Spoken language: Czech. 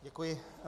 Děkuji.